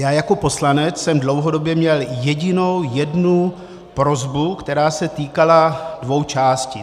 Já jako poslanec jsem dlouhodobě měl jedinou jednu prosbu, která se týkala dvou částí.